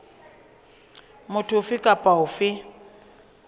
motho ofe kapa ofe a